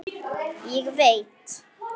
Ég veit.